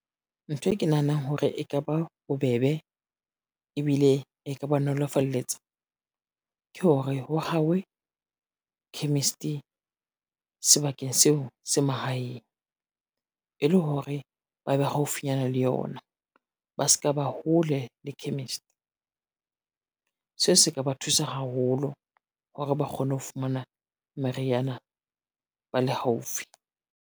Ntho e ke nahanang hore e ka ba bobebe, ebile e ka ba nolofalletsa. Ke hore ho hawe chemist, sebakeng seo se mahaeng. E le hore ba be haufinyana le yona ba ska ba hole le chemist. Se se ka ba thusa haholo hore ba kgone ho fumana meriana ba le haufi.